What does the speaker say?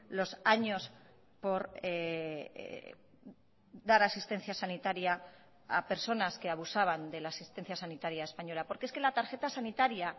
los años por dar asistencia sanitaria a personas que abusaban de la asistencia sanitaria española porque es que la tarjeta sanitaria